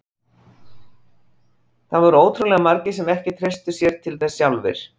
Það voru ótrúlega margir sem ekki treystu sér til þess sjálfir.